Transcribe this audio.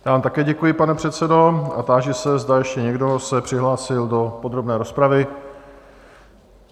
Já vám také děkuji, pane předsedo, a táži se, zda ještě někdo se přihlásil do podrobné rozpravy?